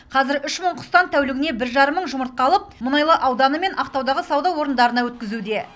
қазір үш мың құстан тәулігіне бір жарым мың жұмыртқа алып мұнайлы ауданы мен ақтаудағы сауда орындарына өткізуде